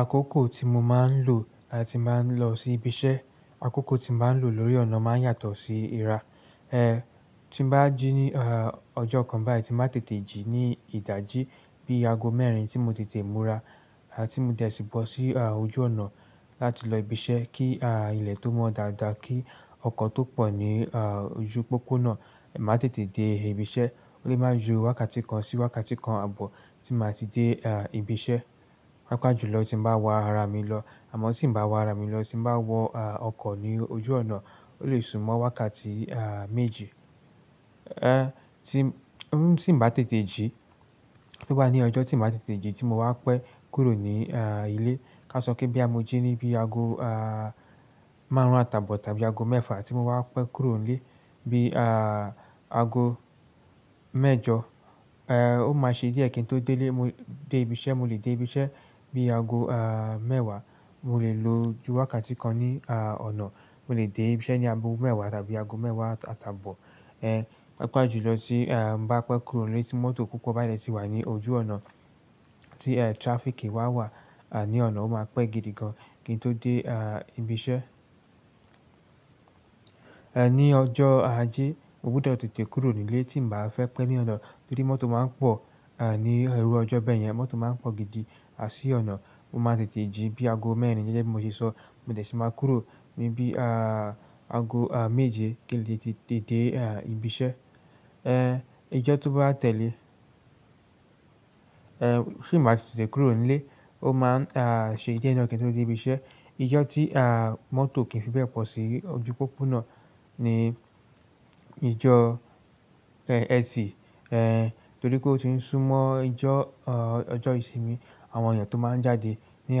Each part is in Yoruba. Akoko tí mo máa ń lò tí mo ba n lọ sí ibi iṣẹ́, akọ́kọ́ tí mo máa ń lò lórí ọ̀nà máa ń yàtọ̀ sí ìrá. Tí nbá jí ní, ọjọ́ kan báyìí tí máa tètè jí ní ìdájí bí i aago mẹ́rin tí mo tètè múra, tí mo dẹ̀ sí bọ̀ sí, ojú ọ̀nà láti lọ si ibi iṣẹ́ kí, ilẹ̀ tó mọ́ dáadáa kí ọkọ̀ tó pọ̀ ní, ojú pópó náà, má tètè dé ibi iṣẹ́. Ó lè máa ju wákàtí kan sí wákàtí kan àbọ̀ tí màá ti dé, ibi iṣẹ́. Pápá jù lọ tí ń bá wa ara mi lọ, àmọ́ tí ń bá wa ara mi lọ tí ń bá wọ ọkọ̀ ní ojú ọ̀nà ó lè súnmọ́ wákàtí méjì. Tí ń bá tètè jí, tó bá ní ọjọ́ tí m ba tètè jí tí mo wa pẹ́ kúrò ní ilé. Ka sọ pé bí a mo jí ní bí i aago, márùn-ún àtàbọ̀ tàbí aago mẹ́fà tí mo wa pẹ́ kúrò nílé bí, aago mẹ́jọ, ó máa ṣe díẹ̀ kí n to dé ibi iṣẹ́, mo lè dé ibi iṣẹ́ bí i aago, mẹ́wàá. Mo lè lo ju wákàtí kan ní, à, ọ̀nà. Mo lè dé ibi iṣẹ́ ní agogo mẹ́wàá tàbí aago mẹ́wàá àtàbọ̀. Papọ̀ jùlọ tí n bá pẹ́ kúrò nílé tí mọ́tò púpọ̀ ba dẹ̀ tí wà ní ojú ọ̀nà tí traffic wá wà ní ọ̀nà, ó máa pẹ́ gidi gan kí n tó dé, à, ibi iṣẹ́. Ní ọjọ́ ajé, mo gbọdọ̀ tètè kúrò nílé tí ń bá fẹ́ pẹ́ ní ọ̀nà torí mọ́tò máa ń pọ̀ ní iru ọjọ́ bẹ́ẹ̀ yẹn mọ́tò máa ń pọ̀ gidi sí ọ̀nà. Mo máa ń tètè jí bí i aago mẹ́rin gẹ́gẹ́ bí mo ṣe sọ, mo dẹ̀ sì máa kúrò ní bí, aago méje kí n lè tètè dé, ibi iṣẹ́. Ijọ́ tó bá tẹ̀lé, tí n ba ti tètè kúrò nílé, ó máa ṣe díẹ̀ náà kí n tó dé ibi iṣẹ́. Ijọ́ tí mọ́tò kì í fi bẹ́ẹ̀ pọ̀ sí ojú pópó náà ní ijọ́ ẹtì torí pé ó ti ń súnmọ́ ọjọ́ ìsinmi. Àwọn èèyàn tó máa ń jáde ní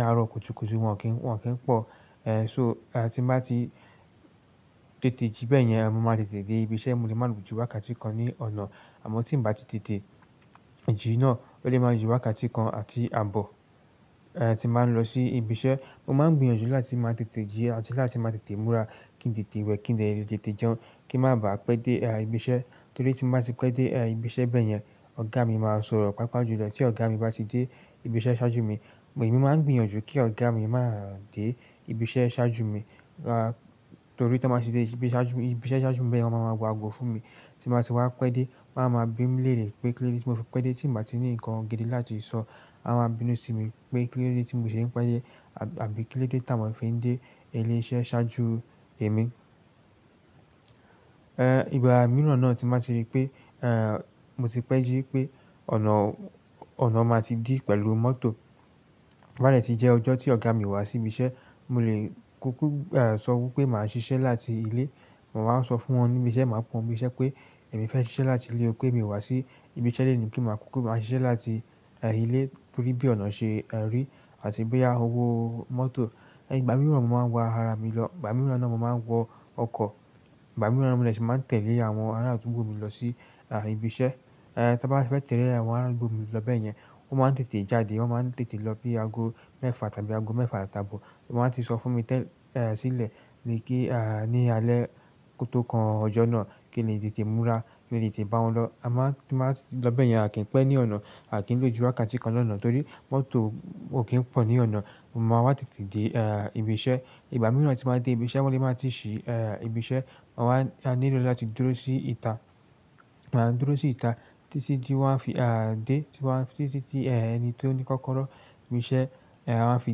àárọ̀ kùtùkùtù wọn kì í pọ̀. Tí n bá ti tètè jí bẹ́ẹ̀ yẹn, mo máa tètè dé ibi iṣẹ́, mo lè máa lò ju wákàtí kan ní ọ̀nà. Àmọ́ tí ń bá ti tètè jí náà, ó lè máa ju wákàtí kan àti àbọ̀, tí n ba ń lọ sí ibi iṣẹ́. Mo máa ń gbìyànjú láti máa tètè jí àti láti máa tètè múra kí ń tètè wẹ̀ kí ń dẹ̀ tètè jẹun kí ń má bá pẹ́ dé, ibi iṣẹ́. Torí tí n ba ti pẹ́ dé ibi iṣẹ́ bẹ́ẹ̀ yẹn, ọ̀gá mi máa sọ̀rọ̀ papọ̀ jù lọ tí ọ̀gá mi bá ti dé ibi iṣẹ́ ṣáájú mi. Emi máa ń gbìyànjú kí ọ̀gá mi máa dé ibi iṣẹ́ ṣáájú mi, torí tí wọ́n bá ti dé ibi iṣẹ́ ṣáájú mi bẹyẹn wọn ma ma wo ago fún mi. Tí n ba ti wá pẹ́ dé, wọ́n á máa bí mi lere pé kí lóde tí mo fi pẹ́ dé tí nba ti ní nnkan gidi láti sọ, wọ́n á máa bínú sí mi pé kí lóde tí mò ṣe ń pẹ́ dé àbí kí lóde tí t'awon fi ń dé ilé iṣẹ́ ṣáájú èmi. Ìgbà mìíràn náà tí n ba ti rí pé, mo ti pẹ́ jí pé ọ̀nà, ọ̀nà máa ti dí pẹ̀lú mọ́tò toba dẹ̀ ti jẹ́ ọjọ́ tí ọ̀gá mi o wá sí ibi iṣẹ́, mo lè kúkú sọ wí pé màá ṣiṣẹ́ láti ilé. Mo máa ń sọ fún wọn ní ibi iṣẹ́, màá pe won ibi iṣẹ́ pé emi fẹ́ ṣiṣẹ́ láti ilé pé èmi o wá sí ibi iṣẹ́ loni pe ma kúkú máa ṣiṣẹ́ láti ilé torí bí ọ̀na ṣe ri àti bí owo mọ́tò. Ìgbà mìíràn mo máa ń wa ara mi lọ, ìgbà mìíràn náà mo máa ń wọ ọkọ̀, ìgbà mìíràn mo dẹ̀ si màá n tẹ̀lé àwọn ará àdúgbò mi lọ sí ibi iṣẹ́. Tí mo bá ti fẹ́ tẹ̀lé àwọn ará adugbo mi lọ bẹ́ẹ̀ yẹn, wọ́n máa ń tètè jáde, wọ́n máa ń tètè lọ bí i aago mẹ́fà tàbí aago mẹ́fà àtàbọ̀. Wọ́n a ti sọ fún mi tẹ́lẹ̀ sílẹ̀ ní alẹ́ ko to kan ọjọ́ náà kí n lè tètè múra kí n lè tètè bá wọn lọ. Tí n ba lọ bẹ́ẹ̀ yẹn, à kí ń pẹ́ ní ọ̀nà, à kí ń lò ju wákàtí kan lọ ní ọ̀nà torí mọ́tò ò kí ń pọ̀ ní ọ̀nà. Mo máa wá tètè dé ibi iṣẹ́. Ìgbà mìíràn tí n ba dé ibi iṣẹ́, wọ́n lè máa ti ṣí, ibi iṣẹ́. Mo wá nílò láti dúró sí ìta títí tí wọ́n á fi dé títí tí ẹni tó ní kọ́kọ́rọ́ ibi iṣẹ́ a fi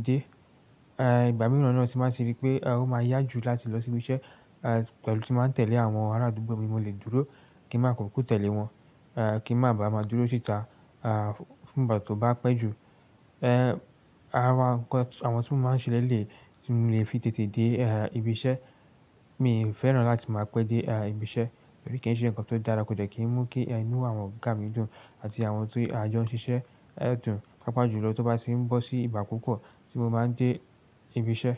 dé. Ìgbà mìíràn náà tín ba ti rí pé ó máa yá ju láti lọ sí ibi iṣẹ́ pẹ̀lú tí n ba tẹ̀lé àwọn ará àdúgbò mi mo lè dúró kí màá kúkú tẹ̀lé wọn, kí n màá ba à máa dúró sí ìta, fún ìgbà tí ó bá pẹ́ ju. Àwọn tí mo máa ń ṣe lẹ́lẹ̀ tí mò lè fi tètè dé ibi iṣẹ́, mi ò fẹ́ràn láti máa pẹ́ dé ibi iṣẹ́ torí kí ń ṣe ǹkan tó dára kò jẹ́ kí ń mú kí inú àwọn ọ̀gá mi dùn àti àwọn ti ajo n ṣíṣe ẹ́ dùn papa jù lọ tó bá ti ń bọ́ sí ìgbà púpọ̀ tí mo máa ń dé ibi iṣẹ́.